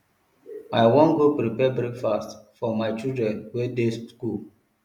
i wan go prepare breakfast for my children wey dey go skool